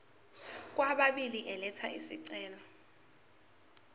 kwababili elatha isicelo